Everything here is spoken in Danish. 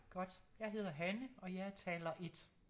Godt jeg hedder Hanne og jeg er taler 1